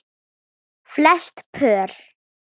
Flest pör